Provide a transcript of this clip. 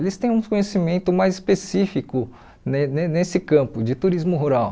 Eles têm um conhecimento mais específico ne ne nesse campo de turismo rural.